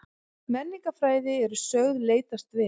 Menningarfræði eru sögð leitast við